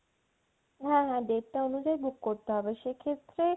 হ্যা হ্যা date টা অনুযায়ী book করতে হবে, সেক্ষেত্রে